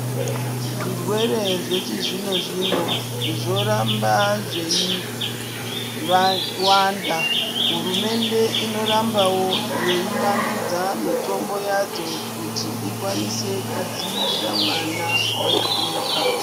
Zvirwere zvechizvino zvino zvoramba zveiwanda. Hurumende inorambawo yeivandudza mitombo yadzo kuti ikwanise kudziirira mwana wega wega.